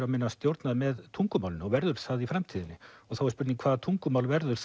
og minna stjórnað með tungumálinu og verður það í framtíðinni og þá er spurning hvaða tungumál verður